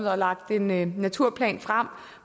har lagt en en naturplan frem